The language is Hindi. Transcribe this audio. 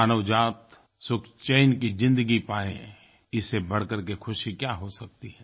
मानव जाति सुखचैन की ज़िंदगी पाये इससे बढ़कर के खुशी क्या हो सकती है